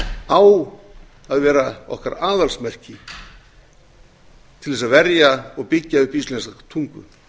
á að vera okkar aðalsmerki til þess að verja og byggja upp íslenska tungu